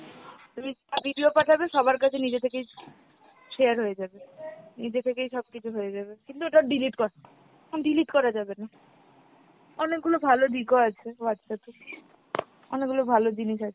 তুমি যা video পাঠাবে সবার কাছেই নিজে থেকেই share হয়ে যাবে, নিজে থেকেই সবকিছু হয়ে যাবে, কিন্তু ওটা delete করা delete করা যাবে না। অনেকগুলা ভালো দিক ও আছে Whatsapp এর, অনেকগুলা ভালো জিনিস আছে।